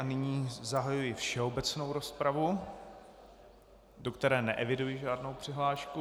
A nyní zahajuji všeobecnou rozpravu, do které neeviduji žádnou přihlášku.